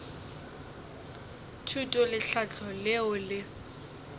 thuto le tlhahlo leo le